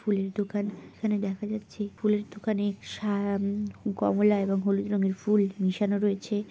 ফুলের দোকান এখানে দেখা যাচ্ছে ফুলের দোকানে সা উম কমলা এবং হলুদ রঙের ফুল মিশানো রয়েছে।